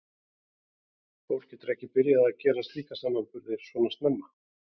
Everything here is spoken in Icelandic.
Fólk getur ekki byrjað að gera slíka samanburði svona snemma.